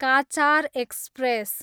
Cachar express